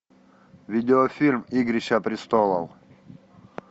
видеофильм игрища престолов